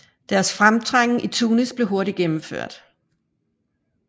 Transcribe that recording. Deres fremtrængen i Tunis blev hurtigt gennemført